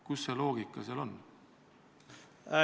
Kus see loogika seal on?